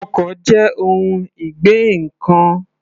Ọkọ̀ jẹ́ ohun ìgbé ǹkan.